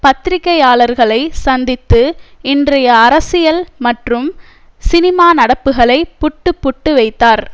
பத்திரிகையாளர்களை சந்தித்து இன்றைய அரசியல் மற்றும் சினிமா நடப்புகளை புட்டு புட்டு வைத்தார்